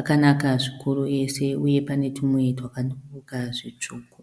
Akanaka zvikuru ese uye pane tumwe twaka tumbuka zvitsvuku.